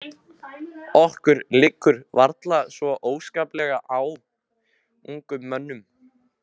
Ykkur liggur varla svo óskaplega á, ungum mönnunum.